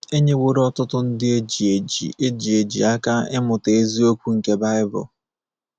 E nyeworo ọtụtụ ndị e ji eji e ji eji aka ịmụta eziokwu nke baịbụl.